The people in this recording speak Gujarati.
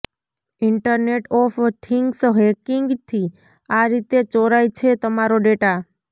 ઈન્ટરનેટ ઓફ થિંગ્સ હેકિંગથી આ રીતે ચોરાય છે તમારો ડેટા